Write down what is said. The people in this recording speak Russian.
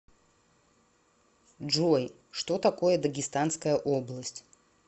джой что такое дагестанская область